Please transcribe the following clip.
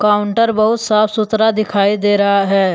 Counter बहुत साफ सुथरा दिखाई दे रहा है।